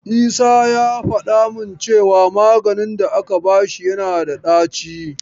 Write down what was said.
Isa ya faɗa min cewa maganin da aka bashi yana da ɗaci.